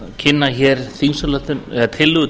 kynna hér tillögu